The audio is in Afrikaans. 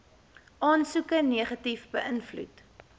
aansoeke negatief beïnvloed